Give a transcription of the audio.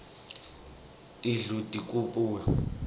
tindlu tikuipha imvuno